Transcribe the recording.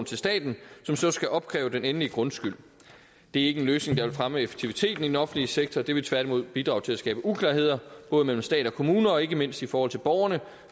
til staten som så skal opkræve den endelige grundskyld det er ikke en løsning der vil fremme effektiviteten i den offentlige sektor det vil tværtimod bidrage til at skabe uklarhed både mellem stat og kommuner og ikke mindst i forhold til borgerne